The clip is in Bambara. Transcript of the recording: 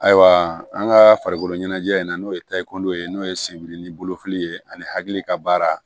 Ayiwa an ka farikoloɲɛnajɛ in na n'o ye tayi kundow ye n'o ye senbiri ni bolofili ye ani hakili ka baara